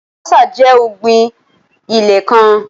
Alubọ́sá jẹ́ ọ̀gbín ẹ̀lẹ́kán